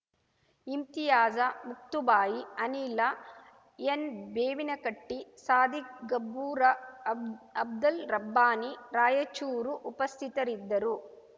ಇಮ್ತಿಯಾಜ ಮುಕ್ತುಬಾಯಿ ಅನಿಲ ಎನ್ಬೇವಿನಕಟ್ಡಿ ಸಾದಿಕ್ ಗಬ್ಬೂರ ಅಬ್ ಅಬ್ದಲ್ ರಬ್ಬಾನಿ ರಾಯಚೂರು ಉಪಸ್ಥಿತರಿದ್ದರು